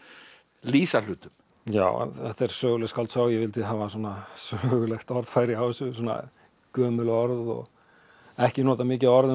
lýsa hlutum já þetta er söguleg skáldsaga og ég vildi hafa sögulegt orðfæri á þessu svona gömul orð og ekki nota mikið af orðum